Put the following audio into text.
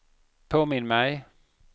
påminn mig